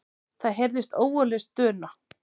Það heyrðist ógurleg stuna.